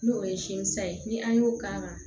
N'o ye sin san ye ni an y'o k'a la